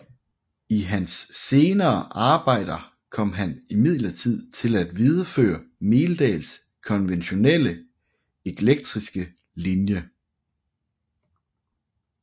I hans senere arbejder kom han imidlertid til at videreføre Meldahls konventionelle eklekticistiske linje